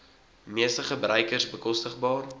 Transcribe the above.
meeste gebruikers bekostigbaar